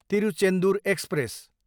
Tiruchendur express